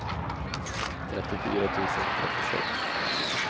trettiofyra tusen trettiosex